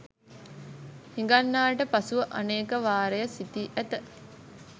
හිඟන්නාට පසුව අනේක වාරය සිතී ඇත